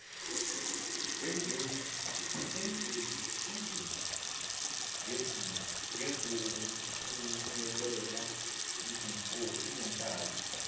engezi ngizomthumelela izinkabi